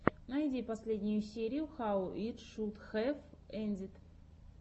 найди последнюю серию хау ит шуд хэв эндид